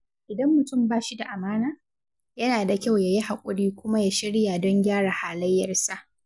Idan mutum ba shi da amana, yana da kyau ya yi haƙuri kuma ya shirya don gyara halayyarsa.